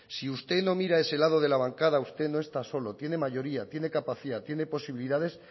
si usted no mira a ese lado de la bancada usted no está solo tiene mayoría tiene capacidad tiene posibilidades